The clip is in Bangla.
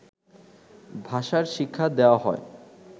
ভাষার শিক্ষা দেয়া হয়